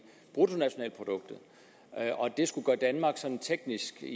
bruttonationalproduktet og at det skulle gøre at danmark sådan teknisk set